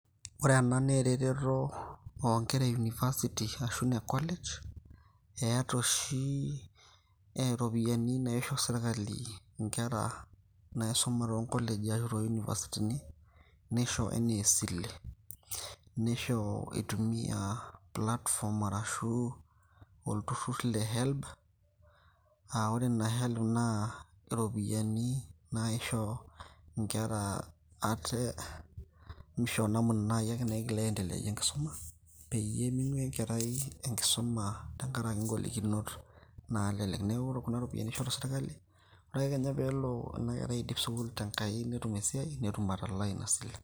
Ore ena naa ereteto onkera e University ashu ine College, eeta oshi iropiyiani naisho serkali inkera naisuma tonkoleji ashu to univasitini, nisho enaa esile. Neisho eitumia platform arashu olturrur le Helb, ah ore ina Helb naa iropiyiani naisho inkera ate mishoo namuna nai ake naigil aendeleayie enkisuma, peyie ming'ua enkerai enkisuma tenkaraki golokinot naalelek. Neeku ore kuna ropiyaiani ishoru sirkali, ore ake kenya pelo enakerai aidip sukuul tenkai netum esiai, netum atalaa ina sile.